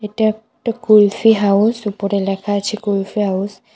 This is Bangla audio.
এটা একটা কুলফি হাউস উপরে লেখা আছে কুলফি হাউস ।